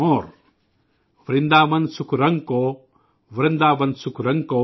वृंदावन सुख रंग कौ, वृंदावन सुख रंग कौ,